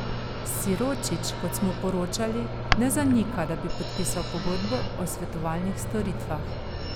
Siročić, kot smo poročali, ne zanika, da bi podpisal pogodbo o svetovalnih storitvah.